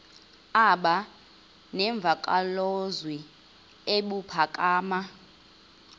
aba nemvakalozwi ebuphakama